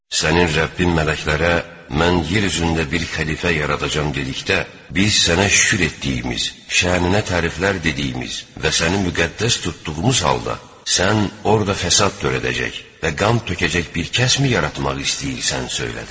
Sənin Rəbbin mələklərə mən yer üzündə bir xəlifə yaradacam dedikdə, biz sənə şükür etdiyimiz, şənünə təriflər dediyimiz və səni müqəddəs tutduğumuz halda, sən orda fəsad törədəcək və qan tökəcək bir kəsmi yaratmaq istəyirsən söylədilər.